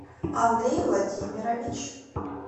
андрей владимирович